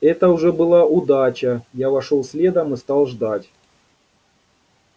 это уже была удача я вошёл следом и стал ждать